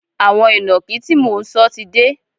Àwọn ìnàkí tí mò ń sọ ti dé